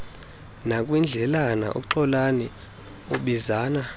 nakwindlela uxolani abizana